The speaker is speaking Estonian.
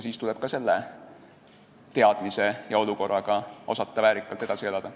Siis tuleb ka selle teadmisega osata väärikalt edasi elada.